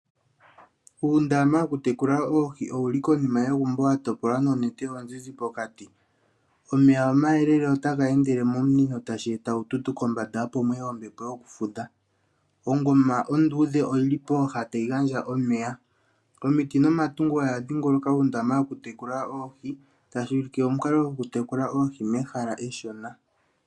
Uundama woku tekula oohi owuli konima yegumbo wa topolwa noonete oozize pokati, omeya omayelele otaga endele momunino tashi eta uututu kombanda opo muye ombepo yoku fudha, ongoma onduudhe oyili pooha tayi gandja omeya, omiti nomatungo oya dhingoloka uundama woku tekula oohi tashi ulike omukalo gwoku tekula oohi mehala eshona.